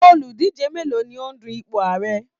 Oludije mélòó ni ó ń dù ipò Ààrẹ?